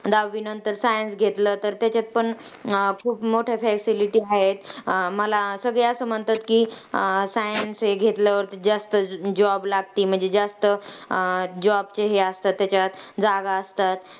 दहावीनंतर science घेतलं तर त्याच्यात पण अं खूप मोठ्या facility हायेत. मला सगळे असं म्हणतात science हे घेतल्यावर जास्त job लागती. म्हणजे जास्त job ची हे असती त्याच्यात, जागा असतात.